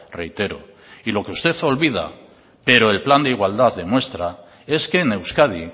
reitero y lo que usted olvida pero el plan de igualdad demuestra es que en euskadi